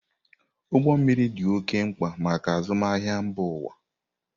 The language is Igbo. Ụgbọ mmiri dị oké mkpa maka azụmahịa mba ụwa.